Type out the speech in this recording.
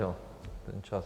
Jo, ten čas...